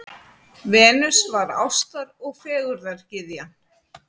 Venus var ástar- og fegurðargyðjan.